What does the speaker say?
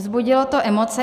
Vzbudilo to emoce.